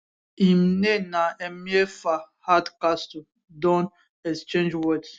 im name na emeafa hardcastle don exchange words